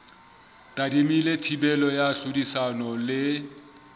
tadimilwe thibelo ya tlhodisano le